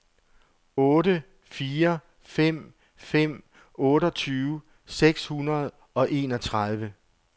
otte fire fem fem otteogtyve seks hundrede og enogtredive